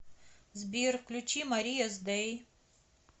сбер включи мария с дэй